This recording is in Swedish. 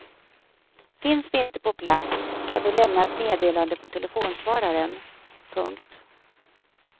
Finns vi inte på plats kan du lämna ett meddelande på telefonsvararen. punkt